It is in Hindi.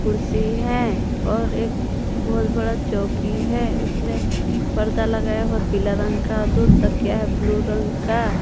कुर्सी है और एक बहुत बड़ा चौकी है उसमें परदा लगाया हुआ पीला रंग का दो तकिया है ब्लू रंग का।